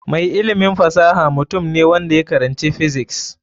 Mai ilimin fasaha mutum ne wanda ya karanci physics.